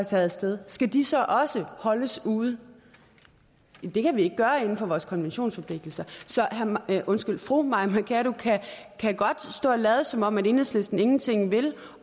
taget af sted skal de så også holdes ude det kan vi ikke gøre inden for vores konventionsforpligtelser så fru mai mercado kan godt stå og lade som om enhedslisten ingenting vil